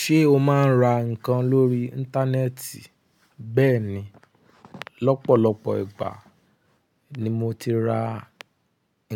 Ṣé o máa ń ra nǹkan lórí Íńtánẹ́ẹ̀tì? Bẹ́ẹ̀ni, lọ́pọ̀lọpọ̀ ìgbà ni mo ti ra